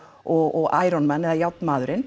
og man eða